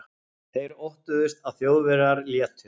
Þeir óttuðust, að Þjóðverjar létu